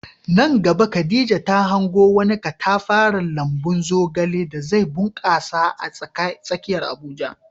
Nan gaba Khadija ta hango wani katafaren lambun zogale da zai bunkasa a tsakiyar Abuja.